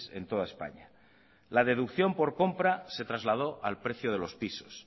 en toda españa la deducción por compra se trasladó al precio de los pisos